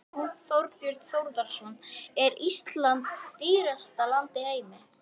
Þorbjörn Þórðarson: Er Ísland dýrasta land í heimi?